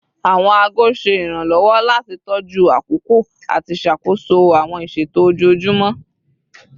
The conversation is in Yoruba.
Awọn aago ṣe iranlọwọ lati tọju akoko ati ṣakoso awọn iṣeto ojoojumọ